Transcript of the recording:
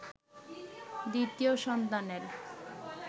দ্বিতীয় সন্তানের